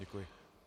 Děkuji.